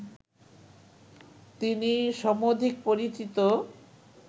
তিনি সমধিক পরিচিত